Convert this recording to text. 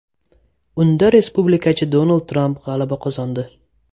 Unda respublikachi Donald Tramp g‘alaba qozondi .